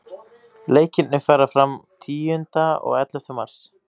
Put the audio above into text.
Leikirnir fara fram tíunda og ellefta mars.